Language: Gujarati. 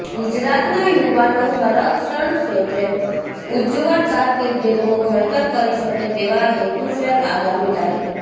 ગુજરાતના યુવાનો સંરક્ષણ ક્ષેત્રે ઉજ્જવળ કારકીર્દીનું ઘડતર કરી શકે તેવા હેતુસર આગામી તા